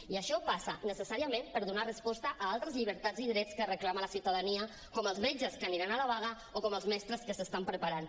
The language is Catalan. i això passa necessàriament per donar resposta a altres llibertats i drets que reclama la ciutadania com els metges que aniran a la vaga o com els mestres que s’estan preparant